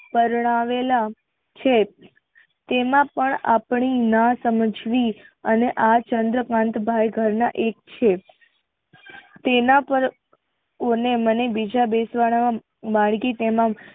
પરણાવેલ છે તેમાં પણ આપણી ના સમજવી અને આ ચંદ્રકાંતભાઈ ઘર ના એજ છે. તેના પર મને બીજા બે ત્રણ